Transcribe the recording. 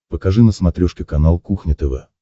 покажи на смотрешке канал кухня тв